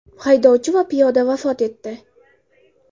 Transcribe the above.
Haydovchi va piyoda vafot etdi.